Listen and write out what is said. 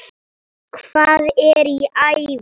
Hvað er í ævi?